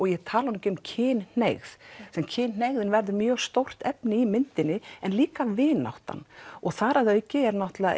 ég tali nú ekki um kynhneigð kynhneigðin verður mjög stórt efni í myndinni en líka vináttan og þar að auki er náttúrulega